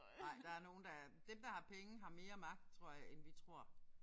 Nej der nogle der dem der har penge har mere magt tror jeg end vi tror